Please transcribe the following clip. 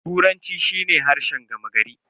Turanci shi ne harshen gama gari.